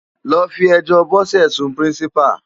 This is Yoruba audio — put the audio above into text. Lò fi èjò Bose sún Pirinsipá